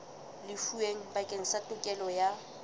lefuweng bakeng sa tokelo ya